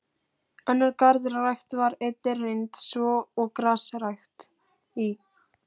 Önnur garðrækt var einnig reynd, svo og grasrækt í